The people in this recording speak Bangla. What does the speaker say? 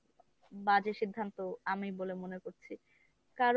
বাজে সিদ্ধান্ত আমি বলে মনে করছি। কারণ